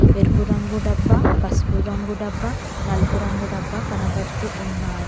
ఎరుపు రంగు డబ్బా పసుపు రంగు డబ్బా నలుపు రంగు డబ్బా కనబడుతూ ఉన్నాయి.